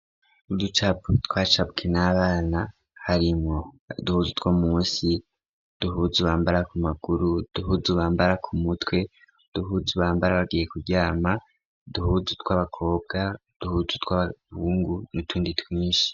Uducapu twacabwe n'abana harimwo duhuzu two musi duhuzu ubambara ku maguru duhuzu bambara ku mutwe duhuzu ubambara bagiye kuryama duhuzu tw'abakobwa duhuzu tw'abahungu n' utundi twinshi.